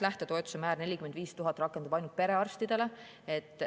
Lähtetoetuse määr 45 000 rakendub ainult perearstide suhtes.